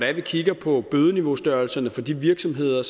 at vi kigger på bødeniveaustørrelserne for de virksomheder